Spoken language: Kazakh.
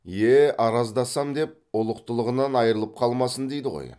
е араздасам деп ұлықтығынан айрылып қалмасын дейді ғой